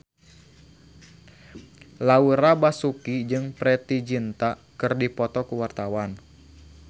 Laura Basuki jeung Preity Zinta keur dipoto ku wartawan